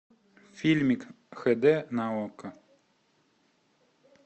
фильмик хэ дэ на окко